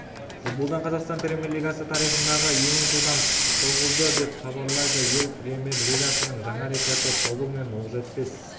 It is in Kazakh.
футболдан қазақстан премьер-лигасы тарихындағы ең жылдам соғылды деп хабарлайды ел премьер-лигасының жаңа рекорды тобыл мен оқжетпес